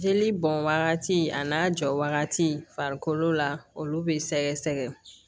Jeli bɔn wagati a n'a jɔ wagati farikolo la olu be sɛgɛsɛgɛ